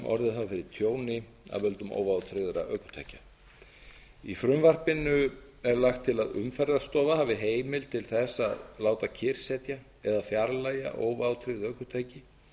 fyrir tjóni af völdum óvátryggðra ökutækja í frumvarpinu er lagt til að umferðarstofa hafi heimild til að láta kyrrsetja eða fjarlægja óvátryggð ökutæki